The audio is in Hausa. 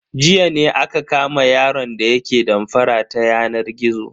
Jiya ne aka kama yaron da yake damfara ta yanar gizo.